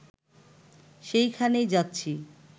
সেইখানেই যাচ্ছি